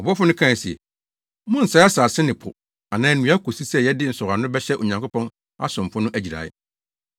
Ɔbɔfo no kae se, “Monnsɛe asase ne po anaa nnua kosi sɛ yɛde nsɔwano bɛhyɛ Onyankopɔn asomfo no agyirae.”